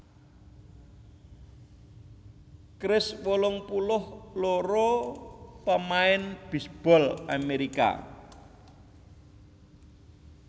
Kris wolung puluh loro pamain bisbol Amerika